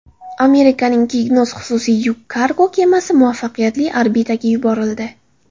Amerikaning Cygnus xususiy yuk kargo kemasi muvaffaqiyatli orbitaga yuborildi.